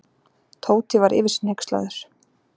Tóti var yfir sig hneykslaður.